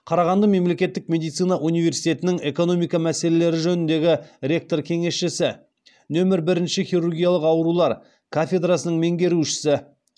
қарағанды мемлекеттік медицина университетінің экономика мәселелері жөніндегі ректор кеңесшісі нөмір бірінші хирургиялық аурулар кафедрасының меңгерушісі